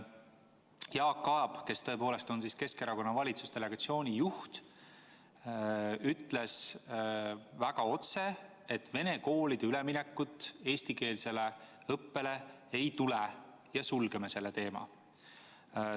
Jaak Aab, kes tõepoolest on Keskerakonna valitsusdelegatsiooni juht, ütles väga otse, et venekeelsete koolide üleminekut eestikeelsele õppele ei tule ja sulgeme selle teema.